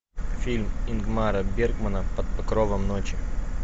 фильм ингмара бергмана под покровом ночи